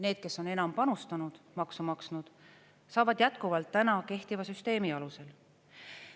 Need, kes on enam panustanud, maksu maksnud, saavad jätkuvalt täna kehtiva süsteemi alusel.